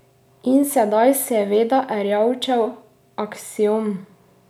In sedaj seveda Erjavčev aksiom.